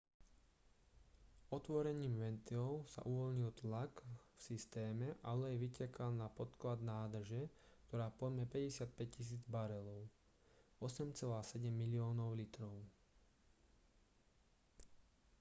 otvorením ventilov sa uvoľnil tlak v systéme a olej vytekal na podklad nádrže ktorá pojme 55 000 barelov 8,7 miliónov litrov